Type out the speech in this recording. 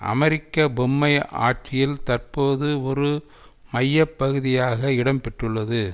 அமெரிக்க பொம்மை ஆட்சியில் தற்போது ஒரு மைய பகுதியாக இடம் பெற்றுள்ளது